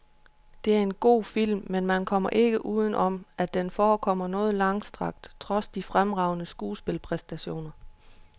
Det er en god historisk film, men man kommer ikke uden om, at den forekommer noget langstrakt trods de fremragende skuespilpræstationer.